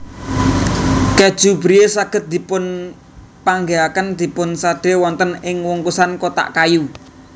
Kèju Brie saged dipunpanggihaken dipunsadé wonten ing wungkusan kotak kayu